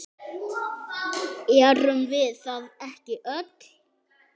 Erum við það ekki öll?